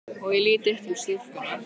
Og ég lít upp til stúlkunnar.